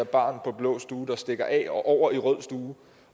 barn på blå stue der stikker af over til rød stue